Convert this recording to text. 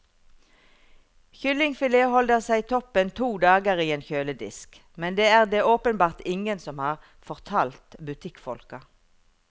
Kyllingfilet holder seg toppen to dager i en kjøledisk, men det er det åpenbart ingen som har fortalt butikkfolka.